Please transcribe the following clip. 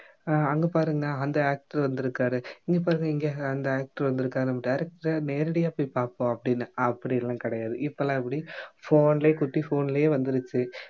அஹ் அங்க பாருங்களேன் அந்த actor வந்திருக்காரு இங்க பாரு இங்க அந்த actor வந்திருக்காருன்னு director அ நேரடியா போய் பார்ப்போம் அப்படின்னு அப்படி எல்லாம் கிடையாது இப்ப எல்லாம் எப்படி phone லயே குட்டி phone லயே வந்திருச்சு